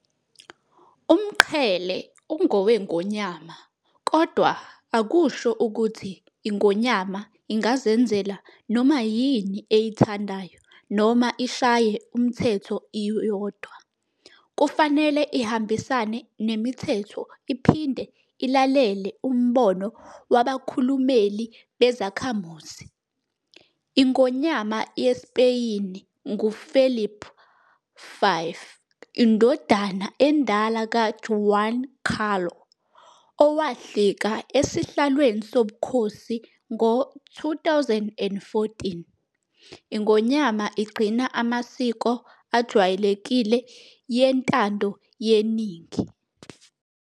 Umqhele ungoweNgonyama kodwa akusho ukuthi iNgonyama ingazenzela noma yini eyithandayo noma ishaye umthetho iyodwa, kufanele ihambisane nemithetho iphinde ilalele umbono wabakhulumeli bezakhamuzi. iNgonyama yeSpeyini ngu-Felipe VI, indodana endala ka-Juan Carlo, owahlika esihlalweni sobukhosi ngo-2014. iNgonyama igcina amasiko ajwayelekile yentandoyeningi.